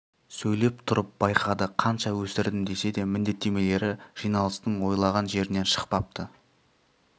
сөйлеп тұрып байқады қанша өсірдім десе де міндеттемелері жиналыстың ойлаған жерінен шықпапты